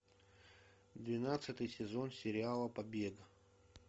двенадцатый сезон сериала побег